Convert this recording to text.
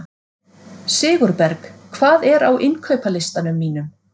Sigurberg, hvað er á innkaupalistanum mínum?